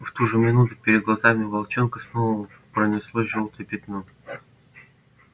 в ту же минуту перед глазами волчонка снова пронеслось жёлтое пятно